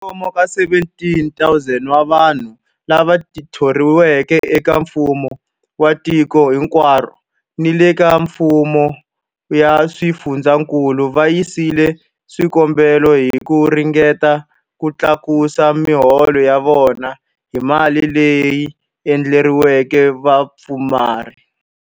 Kwalomu ka 17,000 wa vanhu lava thoriweke eka mfumo wa tiko hinkwaro ni le ka mifumo ya swifundzankulu va yisile swikombelo hi ku ringeta ku tlakusa miholo ya vona hi mali leyi endleriweke vapfumari.